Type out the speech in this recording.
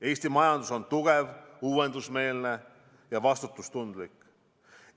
Eesti majandus on tugev, uuendusmeelne ja vastutustundlik.